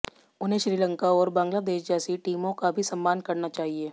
उन्हें श्रीलंका और बांग्लादेश जैसी टीमों का भी सम्मान करना चाहिए